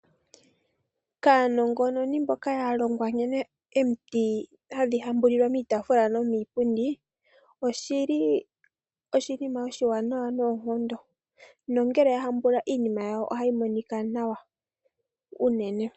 Kaanongononi mboka ya longwa nkene omiti hadhi hambulilwa miitafula nomiilundi, oshili oshimima oshiwanawa noonkondo. Nongele ya hambula iinimayawo ohayi monika nawa unene.